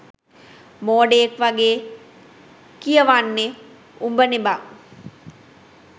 මෝඩයෙක් වගේ කියවන්නේ උඹනේ බං